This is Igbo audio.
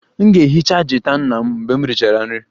M ga-ehicha gita nna mgbe m richara nri